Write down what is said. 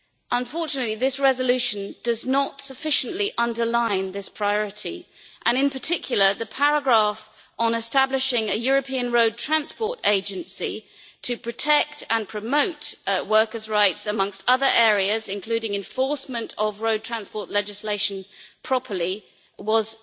Unfortunately, this resolution does not sufficiently underline this priority and in particular the paragraph on establishing a European road transport agency to protect and promote workers' rights, amongst other areas, including proper enforcement of road transport legislation, was